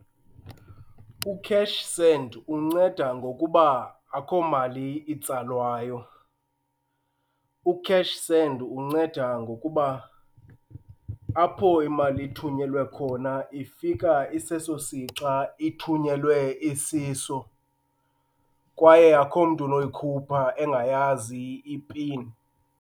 U-cash send unceda ngokuba akho mali itsalwayo. U-cash send unceda ngokuba apho imali ithunyelwe khona ifika iseso sixa ithunyelwe isiso kwaye akhomntu unoyikhupha engayazi ipin.